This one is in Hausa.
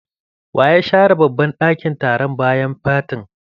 Wa ya share. babban ɗakin taron bayan fatin?